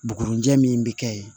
Bugurijɛ min bi kɛ yen